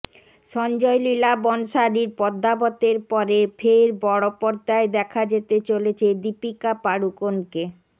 সঞ্জয় লীলা বনশালির পদ্মাবতের পরে ফের বড় পর্দায় দেখা যেতে চলেছে দীপিকা পাডুকোনকে